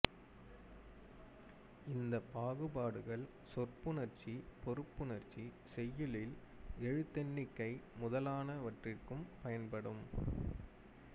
இந்தப் பாகுபாடுகள் சொற்புணர்ச்சி பொருட்புணர்ச்சி செய்யுளில் எழுத்தெண்ணிக்கை முதலானவற்றிற்குப் பயன்படும்